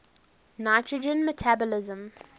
nitrogen metabolism